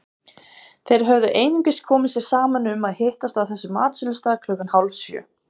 Þeir höfðu einungis komið sér saman um að hittast á þessum matsölustað klukkan hálfsjö.